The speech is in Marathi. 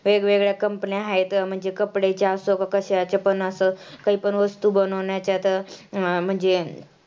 वेगवेगळ्या company आहेत तर म्हणजे कपड्याच्या असो का कशाचे पण असो, काही पण वस्तु बनवण्याच्या तर म्हणजे